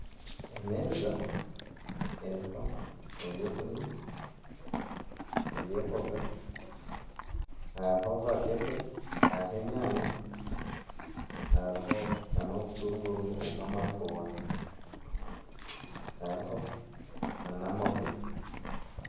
Emeeza eriho eby’okurya eby'embooga hariho vakedo hari enyanya hariho n'obutunguru obw'amabaabi hariho nana amahuri.